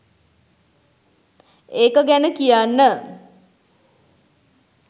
ඒක ගැන කියන්න